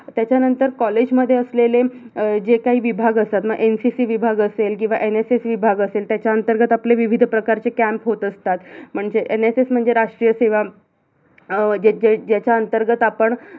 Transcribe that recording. त्याच्यानंतर college मध्ये असलेले जे काही विभाग असतात ना, NCC विभाग असेल किवा NSS विभाग असेल त्याच्या अंतर्गत आपले विविध प्रकारचे camp होत असतात म्हणजे NSS म्हणजे राष्ट्रीय सेवा अं जे जे ज्याच्या अंतर्गत आपण